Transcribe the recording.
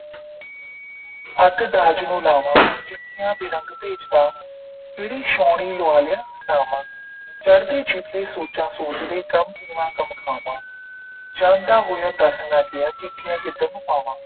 ਅੱਗ ਦਾਜ ਨੂੰ ਲਾਵਾਂ ਚਿੱਠੀਆਂ ਬਰੰਗ ਘਲਦਾ ਕਿਹੜੀ ਛਾਉਣੀ ਲਵਾ ਲਿਆ ਨਾਵਾਂ ਚੜ੍ਹਦੇ ਛਿਪਦੇ ਸੋਚਾਂ ਸੋਚਦੀ ਗ਼ਮ ਪੀਵਾਂ ਗ਼ਮ ਖਾਵਾਂ ਜਾਂਦਾ ਹੋਇਆ ਦਸ ਨਾ ਗਿਆ- ਚਿੱਠੀਆਂ ਕਿਧਰ ਨੂੰ ਪਾਵਾਂ